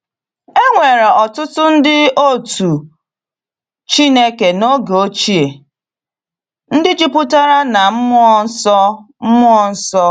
E nwere ọtụtụ ndị otú u Chineke n’oge ochie ndị jupụtara na mmụọ nsọ mmụọ nsọ.